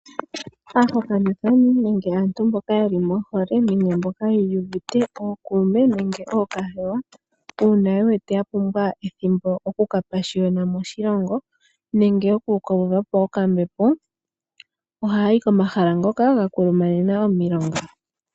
Aahokanithani nenge aantu mboka yeli mohole yiiyuvite ookuume nenge ookahewa uuna ye wete ya pumbwa ethimbo okuka pashiyona moshilongo nenge oku kawuvapo okambepo ohaya yi komahala ngoka ga kulumanena omilonga.